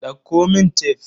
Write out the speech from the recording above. Dauko mun tef.